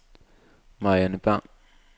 Marianne Bang